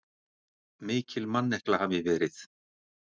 Mikil mannekla hafi verið.